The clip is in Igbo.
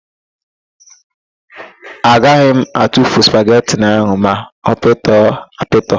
Aga m atufu spageti ahụ ma ọ pịtọ apịtọ.